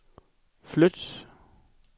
flyt